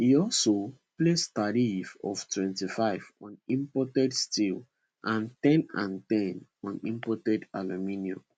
e also place tariffs of 25 on imported steel and ten and ten on imported aluminium